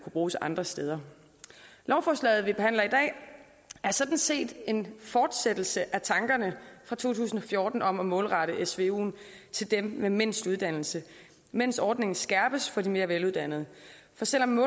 bruges andre steder lovforslaget vi behandler i dag er sådan set en fortsættelse af tankerne fra to tusind og fjorten om at målrette svuen til dem med mindst uddannelse mens ordningen skærpes for de mere veluddannede for selv om